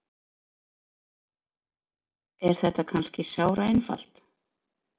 Er þetta kannski sáraeinfalt?